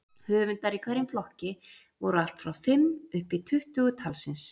Höfundar í hverjum flokki voru allt frá fimm uppí tuttugu talsins.